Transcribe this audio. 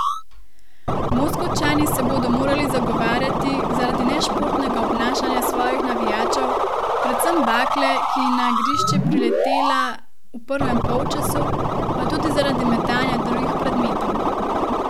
Moskovčani se bodo morali zagovarjati zaradi nešportnega obnašanja svojih navijačev, predvsem bakle, ki je na igrišče priletela v prvem polčasu, pa tudi zaradi metanja drugih predmetov.